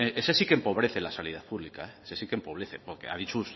ese sí que empobrece la sanidad pública ese sí que empobrece porque ha dicho